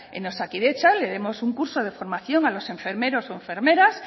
en osakidetza le demos un curso de formación a los enfermeros o enfermeras